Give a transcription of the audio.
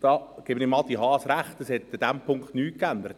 Da gebe ich Adrian Haas recht, es hat sich nichts geändert.